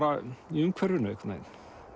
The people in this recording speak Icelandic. í umhverfinu einhvern veginn